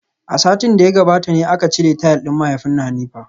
A satin da ya gabata ne aka cire tile din mahaifin Hanifa.